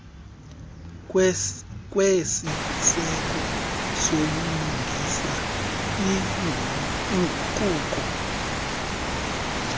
kwesiseko sobulungisa iinguquko